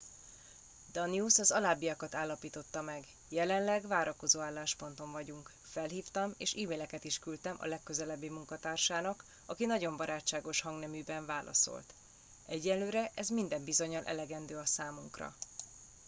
danius az alábbiakat állapította meg jelenleg várakozó állásponton vagyunk felhívtam és e maileket is küldtem a legközelebbi munkatársának aki nagyon barátságos hangneműben válaszolt egyelőre ez minden bizonnyal elegendő a számunkra